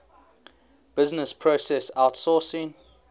business process outsourcing